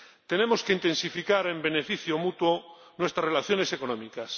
Tenemos que intensificar, en beneficio mutuo, nuestras relaciones económicas.